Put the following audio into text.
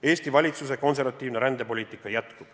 Eesti valitsuse konservatiivne rändepoliitika jätkub.